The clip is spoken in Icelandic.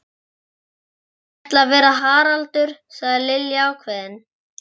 Ég ætla að vera Haraldur sagði Lilla ákveðin.